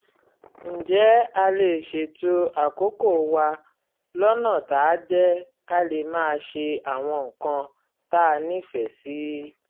ǹjẹ́ a lè ṣètò àkókò wa lọ́nà táá jẹ́ ká lè máa ṣe àwọn nǹkan tá a nífẹ̀ẹ́ sí?